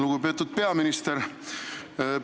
Lugupeetud peaminister!